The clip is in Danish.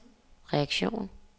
reaktion